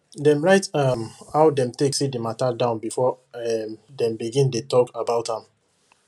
dem write um how dem take see the matter down before um dem begin dey talk about am